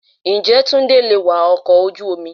Ǹjẹ́ Túndé lè wa ọkọ̀ ojú omi?